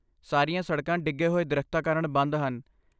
ਸਾਰੀਆਂ ਸੜਕਾਂ ਡਿੱਗੇ ਹੋਏ ਦਰੱਖਤਾਂ ਕਾਰਣ ਬੰਦ ਹਨ।